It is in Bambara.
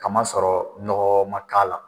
Kamasɔrɔ nɔgɔ man k'a la.